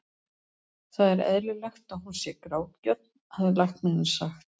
Það er eðlilegt að hún sé grátgjörn, hafði læknirinn sagt.